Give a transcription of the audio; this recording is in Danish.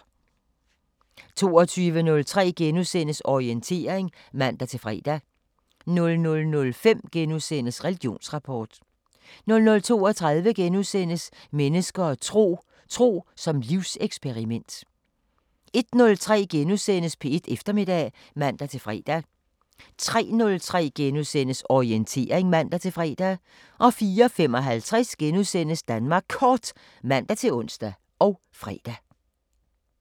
22:03: Orientering *(man-fre) 00:05: Religionsrapport * 00:32: Mennesker og tro: Tro som livseksperiment * 01:03: P1 Eftermiddag *(man-fre) 03:03: Orientering *(man-fre) 04:55: Danmark Kort *(man-ons og fre)